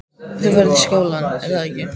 Þú ferð í skólann, er að ekki?